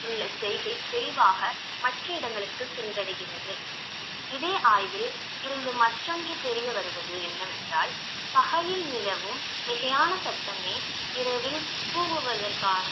உள்ள செய்கை தெளிவாக மற்ற இடங்களுக்கு சென்றடைகிறது இதே ஆய்வில் இருந்து மற்றொன்று தெரிய வருவது என்னவென்றால் பகலில் நிலவும் மிகையான சத்தமே இரவில் கூவுவதற்கான